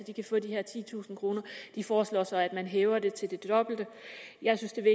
de kan få de her titusind kroner de foreslår så at man hæver det til det dobbelte jeg synes at det